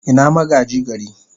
Ina magaji gari?